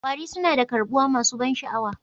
Kwari suna da karbuwa masu ban sha'awa